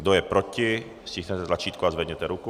Kdo je proti, stiskněte tlačítko a zvedněte ruku.